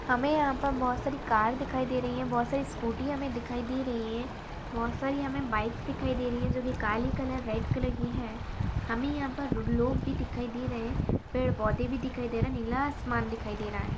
हमे यहा पर बहुत सारी कार दिखाई दे रही है। बहुत सारी स्कूटी हमे दिखाई दे रही है। बहुत सारी हमे बाइक दिखाई दे रही है। जो की काले कलर रेड कलर की है। हमे यहा पर रुड लोग भी दिखाई दे रही है। पेड़ पौधे भी दिखाई दे रहे है। नीला आसमान दिखाई दे रहा है।